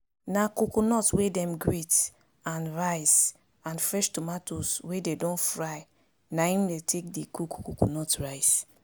na coconut wey dem grate and rice and fresh tomatoes wey dey don fry na im dey take dey cook coconut rice